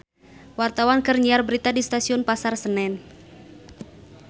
Wartawan keur nyiar berita di Stasiun Pasar Senen